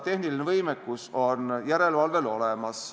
Tehniline võimekus on järelevalvel olemas.